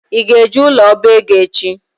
Ị ga-eje ụlọ ọbaego echi?